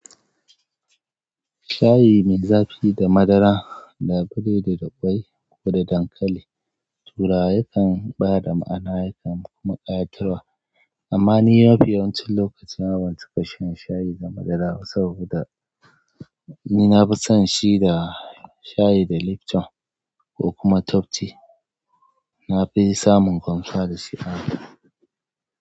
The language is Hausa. Shayi mai zafi da madara, labule da daboi, kuma dankali. Turawa yakan ba da ma'ana, yakan kuma ƙayatarwa, amma ni mafi yawancin lokaci ban cika shan shayi da madara saboda ni na fi son shi da shayi da Lipton ko kuma Top tea. Na fi samun kwanciwa da shi a hanta.